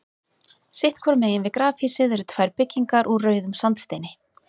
Sitt hvoru megin við grafhýsið eru tvær byggingar úr rauðum sandsteini.